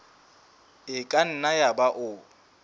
e ka nna yaba o